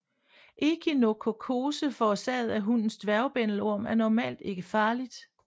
Ekinokokkose forårsaget af hundens dværgbændelorm er normalt ikke farligt